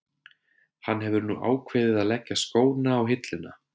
Hann hefur nú ákveðið að leggja skóna á hilluna.